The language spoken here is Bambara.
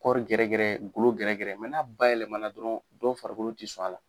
Kɔɔri gɛrɛgɛrɛ golo gɛrɛgɛrɛ n'a bayɛlɛma dɔrɔn dɔw farikolo tɛ sɔn a la